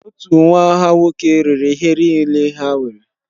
Otu nwa ha nwoke rere ihe niile ha nwere.